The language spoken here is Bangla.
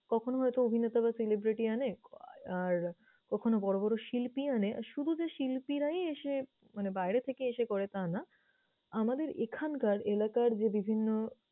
কখনো হয়তো অভিনেতা বা celebrity আনে, আর কখনো বড় বড় শিল্পী আনে। শুধু যে শিল্পীরাই এসে মানে বাইরে থেকে এসে করে তা না, আমাদের এখানকার এলাকার যে বিভিন্ন